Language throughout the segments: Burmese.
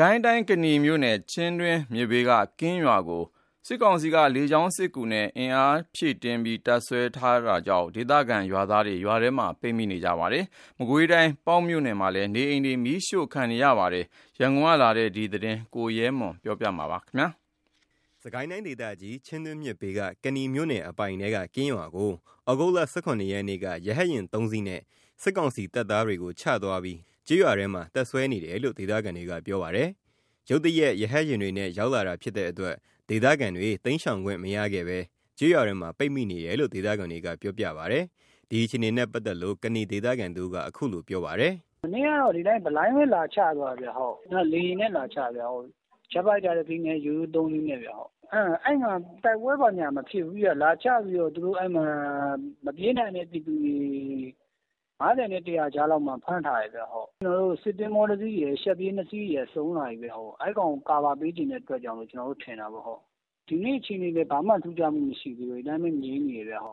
ကိုင်းတိုင်းဒေသကြီး၊ ကနီမြို့နယ်၊ ချင်းတွင်းမြစ်ဘေးက ကင်းရွာကို စစ်ကောင်စီက လေကြောင်းကနေ အင်အားဖြည့်တင်း တပ်စွဲထားပြီး ဒေသခံကျေးရွာသားတွေ ရွာထဲမှာ ပိတ်မိနေတယ်လို့ ဒေသခံတွေက ပြောပါတယ်။ မကွေးတိုင်း ပေါက်မြို့နယ် မြောက်ပိုင်းမှာလည်း နေအိမ်တွေမီးရှို့ခံရတာတွေ ရှိနေပါတယ်။ ရန်ကုန်ကပေးပို့လာတဲ့ စစ်ကိုင်းတိုင်းနဲ့ မကွေးတိုင်းအခြေအနေတွေ ကိုရဲမွန် ကပြောပြပါမယ်။ စစ်ကိုင်းတိုင်းဒေသကြီး၊ ချင်းတွင်းမြစ်ဘေးက ကနီမြို့နယ်အပိုင်ထဲက ကင်းရွာကို သြဂုတ် ၁၇ ရက် က ရဟတ်ယာဉ် ၃ စီးနဲ့ စစ်ကောင်စီတပ်သားတွေကို ချသွားပြီး ကျေးရွာထဲမှာ တပ်စွဲနေတယ်လို့ ဒေသခံတွေက ပြောပါတယ်။ ရုတ်တရက် ရဟတ်ယာဉ်တွေနဲ့ ရောက်လာတဲ့ဖြစ်တဲ့အတွက် ဒေသခံတွေ တိမ်းရှောင်ခွင့်မရခဲ့ဘဲ ကျေးရွာထဲမှာ ပိတ်မိနေတယ်လို့ ဒေသခံတွေကပြောပါတယ်။ဒီအခြေအနေနဲ့ ပတ်သက်လို့ ကနီဒေသခံတဦးက အခုလိုပြောပြပါတယ်။ “မနေ့က ဒီအတိုင်းပဲ ဘလိုင်းပဲလာချသွားတာ။ လေယာဉ်နဲ့ လာချသွားတာ။ ဂျက်ဖိုက်တာ ၁ စီးနဲ့ ရိုးရိုး ၃ စီးနဲ့ အဲ့မှာ တိုက်ပွဲဘာညာမဖြစ်ဘူး။ အဲ့မှာလာချပြီးတော့ မပြေးနိုင်တဲ့ပြည်သူတွေ ၅၀ နဲ့ ၁၀၀ ကြားမှာ ဖမ်းထားတယ်။ စစ်သင်္ဘော ၁ စီးရယ် ရှပ်ပြေး ၂ စီးရယ် စုန်လာပြီခင်ဗျ။ အဲ့ကောင်ကို ကာဗာပေးချင်တဲ့အတွက်လို့ ကျွန်တော်တို့ ထင်တာပေါ့။ ဒီနေ့အခြေအနေကတော့ ဘာမှထူးခြားမှုမရှိဘူး။ ဒီအတိုင်းငြိမ်နေတယ်။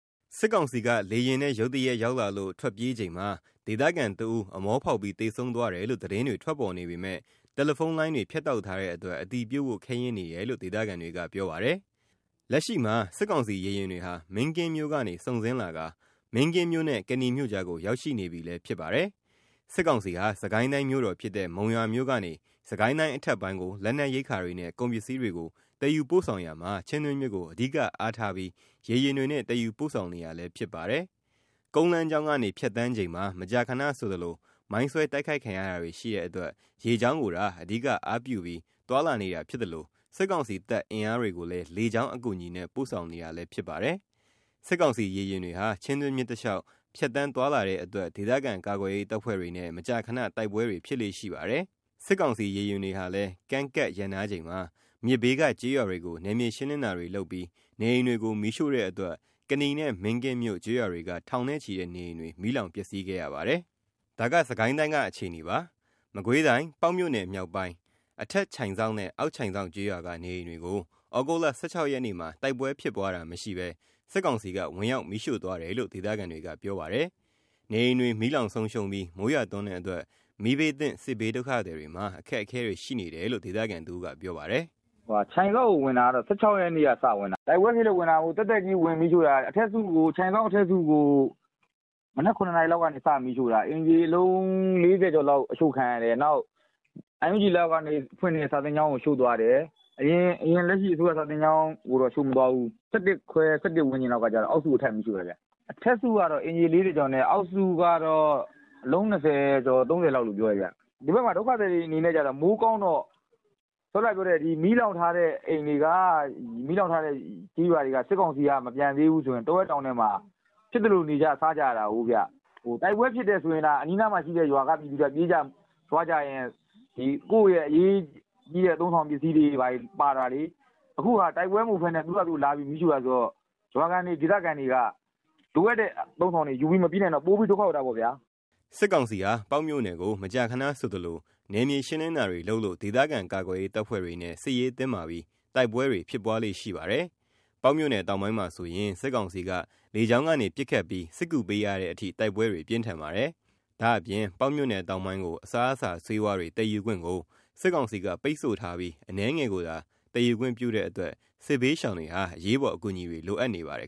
” စစ်ကောင်စီက လေယာဉ်နဲ့ ရုတ်တရက် ရောက်လာလို့ ထွက်ပြေးချိန်မှာ ဒေသခံတဦး အမောဖောက်ပြီး သေဆုံးသွားတယ်လို့ သတင်းထွက်ပေါ်နေပေမယ့် တယ်လီဖုန်းလိုင်းတွေ ဖြတ်တောက်ထားတဲ့အတွက် အတည်ပြုဖို့ ခဲယဉ်းနေတယ်လို့ ဒေသခံတွေက ပြောပါတယ်။ လက်ရှိ စစ်ကောင်စီ ရေယာဉ်တွေဟာ မင်းကင်းမြို့ကနေ စုန်ဆင်းလာတာ မင်းကင်းမြို့နဲ့ ကနီမြို့ကြားကို ရောက်ရှိနေပြီလည်းဖြစ်ပါတယ်။ စစ်ကောင်စီဟာ စစ်ကိုင်းတိုင်းမြို့တော်ဖြစ်တဲ့ မုံရွာမြို့ကနေ စစ်ကိုင်းတိုင်း အထက်ပိုင်းကို လက်နက်ရိက္ခာတွေနဲ့ ကုန်ပစ္စည်းတွေကို သယ်ယူပို့ဆောင်ရာမှာ ချင်းတွင်းမြစ်ကို အဓိကအားထားပြီး ရေယာဉ်တွေနဲ့ သယ်ယူပို့ဆောင်နေတာလည်း ဖြစ်ပါတယ်။ ကုန်းလမ်းကြောင်းကနေ ဖြတ်သန်းချိန်မှာ မကြာခဏဆိုသလို မိုင်းဆွဲတိုက်ခိုက်ခံရတာတွေရှိတဲ့အတွက် ရေကြောင်းကိုသာ အဓိကအားပြုပြီး သွားလာနေတာဖြစ်သလို စစ်ကောင်စီတပ်အင်အားတွေကိုလည်း လေကြောင်းအကူအညီနဲ့ ပို့ဆောင်နေတာလည်းဖြစ်ပါတယ်။ စစ်ကောင်စီရေယာဉ်တွေဟာ ချင်းတွင်းမြစ်တလျှောက် ဖြတ်သန်းသွားလာတဲ့အတွက် ဒေသခံကာကွယ်ရေး တပ်ဖွဲ့တွေနဲ့ မကြာခဏတိုက်ပွဲတွေဖြစ်လေ့ရှိပါတယ်။ စစ်ကောင်စီ ရေယာဉ်တွေဟာလည်း ကမ်းကပ်ရပ်နားချိန်မှာ မြစ်ဘေးက ကျေးရွာတွေကို နယ်မြေရှင်းလင်းတာတွေ လုပ်ပြီး နေအိမ်တွေကို မီးရှို့တဲ့အတွက် ကနီနဲ့ မင်းကင်းမြို့ကျေးရွာတွေက ထောင်နဲ့ချီတဲ့နေအိမ်တွေ မီးလောင်ပျက်စီးခဲ့ရပါတယ်။ ဒါက စစ်ကိုင်းတိုင်းက အခြေအနေပါ။ မကွေးတိုင်း ပေါက်မြို့နယ်မြောက်ပိုင်း အထက် ချိုက်စောက်နဲ့ အောက်ချိုင်စောက်ကျေးရွာက နေအိမ်တွေကို သြဂုတ် ၁၆ ရက်မှာ တိုက်ပွဲဖြစ်ပွားတာမရှိဘဲ စစ်ကောင်က ဝင်ရောက်မီးရှို့သွားတယ်လို့ ဒေသခံတွေက ပြောပါတယ်။ နေအိမ်တွေမီးလောင်ဆုံးရှုံးပြီး မိုးရွာသွန်းတဲ့အတွက် မီးဘေးသင့် စစ်ဘေးဒုက္ခသည်တွေမှာ အခက်အခဲတွေရှိနေတယ်လို့ ဒေသခံတဦးက ပြောပါတယ်။ “ချိုက်စောက်ကိုဝင်တာ ၁၆ ရက်နေ့က ဝင်တာ။ တိုက်ပွဲဖြစ်လို့ ဝင်တာမဟုတ်ဘူး သက်သက်ကြီးဝင်မီးရှို့တာ။ ချိုင်စောက်အထက်စုကို မနက် ၇ နာရီလောက်ကနေ စမီးရှို့တာ အိမ်ခြေ အလုံး ၄၀ ကျော်လောက်အရှို့ခံရတယ်။ NUG လက်အောက်ကနေ ဖွင့်တဲ့ စာသင်ကျောင်းကိုရှို့သွားတယ်။ အရင်အစိုးရ စာသင်ကျောင်းကိုတော့ မရှို့သွားဘူး။ ၁၁ ခွဲ ၁၁ ဝန်းကျင်လောက်မှာ အောက်စုကို ထပ်မီးရှို့တယ်။ အထက်စုက အိမ်ခြေ ၄၀ ကျော်နဲ့ အောက်စုက အိမ်ခြေ ၂၀ ကျော် ၃၀ လို့ ပြောတယ်။ ဒီဘက်မှာ ဒုက္ခသည်တွေက မိုးကောင်းတော့ အစောနားက မီးလောင်ထားတဲ့အိမ်တွေက မီးလောင်ထားတဲ့ကျေးရွာတွေကနေ စစ်ကောင်စီက မပြန်သေးဘူးဆိုရင် တောထဲတောင်ထဲ ဖြစ်သလိုနေကြ စားကြရတာကိုဗျ။ တိုက်ပွဲဖြစ်တယ်ဆိုရင်သာ အနီးနားက ရွာကလူတွေက ပြေးကြလွှားကြရင်း ကိုယ့်ရဲ့အရေးကြီးတဲ့ အသုံးအဆောင်ပစ္စည်းတွေပါလာတာလေ။ အခုဟာက တိုက်ပွဲမဟုတ်ဘဲ သူတို့ဟာသူတို့လာပြီးမီးရှို့တာဆိုတော့ ရွာခံတွေဒေသခံတွေက လိုအပ်တဲ့အသုံးအဆောင်တွေ ယူပြီးမပြေးနိုင်တော့ ပိုပြီးဒုက္ခရောက်တာပေါ့။” စစ်ကောင်စီဟာ ပေါက်မြို့နယ်ကို မကြာခဏဆိုသလို နယ်မြေရှင်းလင်းတာတွေလုပ်လို့ ဒေသခံကာကွယ်ရေး တပ်ဖွဲ့တွေနဲ့ စစ်ရေးတင်းမာပြီး တိုက်ပွဲတွေ ဖြစ်ပွားလေ့ရှိပါတယ်။ ပေါက်မြို့နယ်တောင်ပိုင်းမှာဆိုရင် စစ်ကောင်စီက လေကြောင်းကနေ ပစ်ခတ်ပြီး စစ်ကူပေးရတဲ့အထိ တိုက်ပွဲတွေ ပြင်းထန်ပါတယ်။ ဒါ့အပြင်ပေါက်မြို့နယ်တောင်ပိုင်းကို အစားအစာဆေးဝါးတွေ သယ်ယူခွင့်ကို စစ်ကောင်စီက ပိတ်ဆို့ထားပြီး အနည်းငယ်ကိုသာ သယ်ယူခွင့်ပြုတဲ့အတွက် စစ်ဘေးရှောင်တွေဟာ အရေးပေါ်အကူအညီတွေ လိုအပ်နေပါတယ်